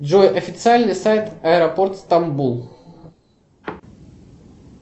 джой официальный сайт аэропорт стамбул